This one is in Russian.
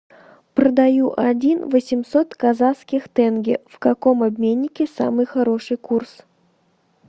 продаю один восемьсот казахских тенге в каком обменнике самый хороший курс